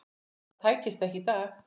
Það tækist ekki í dag.